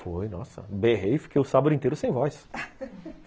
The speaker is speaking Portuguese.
Foi, nossa, berrei, fiquei o sábado inteiro sem voz.